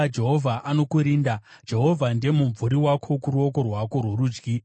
Jehovha anokurinda, Jehovha ndiye mumvuri wako kuruoko rwako rworudyi;